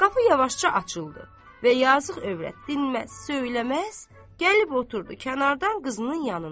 Qapı yavaşca açıldı və yazıq övrət dinməz, söyləməz, gəlib oturdu kənardan qızının yanında.